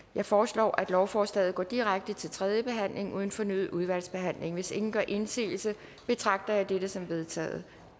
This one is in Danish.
jeg foreslår at lovforslaget går direkte til tredje behandling uden fornyet udvalgsbehandling hvis ingen gør indsigelse betragter jeg dette som vedtaget